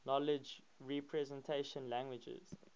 knowledge representation languages